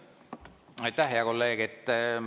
Aitäh, hea kolleeg!